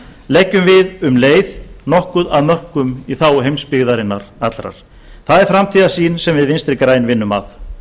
leggjum við um leið nokkuð af mörkum í þágu heimsbyggðarinnar allrar það er framtíðarsýn sem við vinstri græn vinnum að